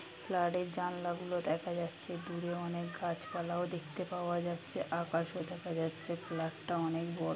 ফ্ল্যাটের জানলা গুলো দেখা যাচ্ছে দূরে অনেক গাছপালাও দেখতে পাওয়া যাচ্ছে আকাশও দেখা দেখা যাচ্ছে ফ্ল্যাটটা অনেক বড়ো |